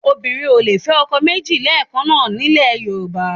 Obìnrin ò lè fẹ́ ọkọ méjì lẹ́ẹ̀kan náà nílẹ̀ Yorùbá